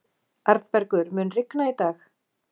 Arnbergur, mun rigna í dag?